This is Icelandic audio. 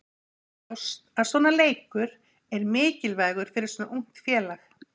Það er ljóst að svona leikur er mikilvægur fyrir svona ungt félag.